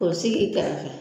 O sigi kɛrɛfɛ